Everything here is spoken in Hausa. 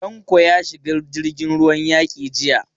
Tanko ya shiga jirgin ruwan yaki jiya.